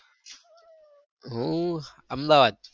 જી sir કઈ થી છો તમે?